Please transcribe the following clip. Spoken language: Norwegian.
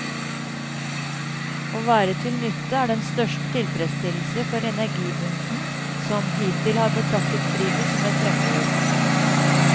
Å være til nytte er den største tilfredsstillelse for energibunten, som hittil har betraktet fritid som et fremmedord.